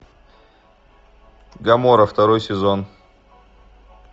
гоморра второй сезон